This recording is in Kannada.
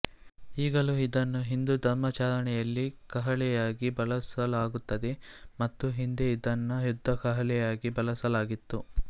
ಈಗಲೂ ಇದನ್ನು ಹಿಂದೂ ಧರ್ಮಾಚರಣೆಯಲ್ಲಿ ಕಹಳೆಯಾಗಿ ಬಳಸಲಾಗುತ್ತದೆ ಮತ್ತು ಹಿಂದೆ ಇದನ್ನು ಯುದ್ಧ ಕಹಳೆಯಾಗಿ ಬಳಸಲಾಗಿತ್ತು